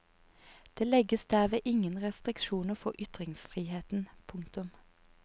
Det legges derved ingen restriksjoner for ytringsfriheten. punktum